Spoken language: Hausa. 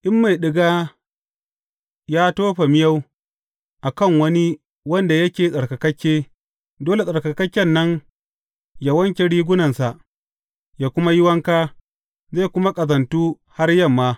In mai ɗiga ya tofa miyau a kan wani wanda yake tsarkakakke, dole tsarkakakken nan yă wanke rigunansa, yă kuma yi wanka, zai kuma ƙazantu har yamma.